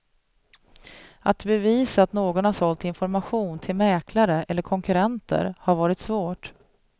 Att bevisa att någon har sålt information till mäklare eller konkurrenter har varit svårt.